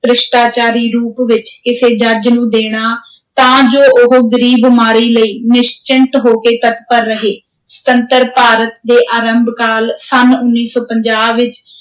ਭ੍ਰਿਸ਼ਟਾਚਾਰੀ ਰੂਪ ਵਿਚ, ਕਿਸੇ ਜੱਜ ਨੂੰ ਦੇਣਾ, ਤਾਂ ਜੋ ਉਹ ਗ਼ਰੀਬਮਾਰੀ ਲਈ ਨਿਸ਼ਚਿੰਤ ਹੋ ਕੇ ਤਤਪਰ ਰਹੇ ਸੁਤੰਤਰ ਭਾਰਤ ਦੇ ਆਰੰਭ ਕਾਲ, ਸੰਨ ਉੱਨੀ ਸੌ ਪੰਜਾਹ ਵਿਚ,